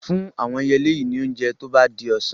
Fún àwọn ẹyẹlé yìí ní oúnjẹ tó bá di ọ̀sán.